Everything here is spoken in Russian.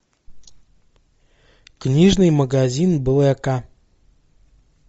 книжный магазин блэка